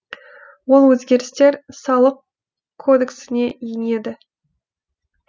ол өзгерістер салық кодексіне енеді